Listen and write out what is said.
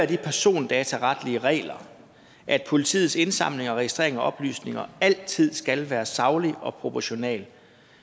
de persondataretlige regler at politiets indsamling og registrering af oplysninger altid skal være saglig og proportional